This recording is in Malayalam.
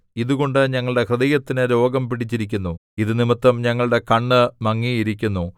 ഇതുകൊണ്ട് ഞങ്ങളുടെ ഹൃദയത്തിന് രോഗം പിടിച്ചിരിക്കുന്നു ഇതു നിമിത്തം ഞങ്ങളുടെ കണ്ണ് മങ്ങിയിരിക്കുന്നു